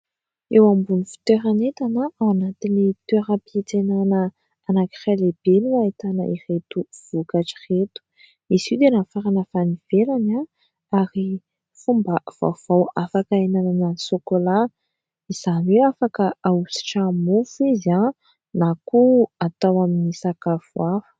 Eo ambon'ny fitoeran'entana ao anatin'ny toeram-pitsenana anankiray lehibe no ahitana ireto vokatra ireto, izy io dia nafarana avy any ivelany a ary fomba vaovao afaka hinanana sokolaha, izany hoe afaka ahositra mofo izy aho na koa atao amin'ny sakafo hafa.